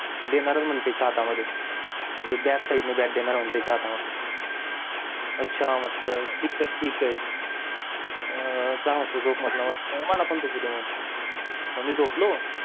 देणारच म्हणतंयसा हाता मध्ये म्हणजे back side ने bat आच्छा म्हटलं ठीक ए ठीक ए अं सहा वाजता झोप म्हंटल मस्त मला पण झोपू दे म्हंटल मग मी पण झोपलो